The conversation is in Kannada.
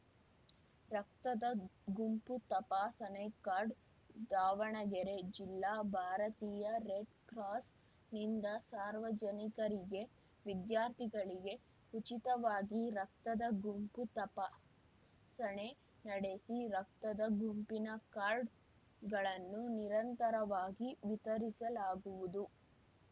ರಕ್ತದ ಗುಂಪು ತಪಾಸಣೆಕಾರ್ಡ್‌ ದಾವಣಗೆರೆ ಜಿಲ್ಲಾ ಭಾರತೀಯ ರೆಡ್‌ ಕ್ರಾಸ್‌ನಿಂದ ಸಾರ್ವಜನಿಕರಿಗೆ ವಿದ್ಯಾರ್ಥಿಗಳಿಗೆ ಉಚಿತವಾಗಿ ರಕ್ತದ ಗುಂಪು ತಪಾಸಣೆ ನಡೆಸಿ ರಕ್ತದ ಗುಂಪಿನ ಕಾರ್ಡ್‌ಗಳನ್ನು ನಿರಂತರವಾ ಗಿ ವಿತರಿಸಲಾಗುವುದು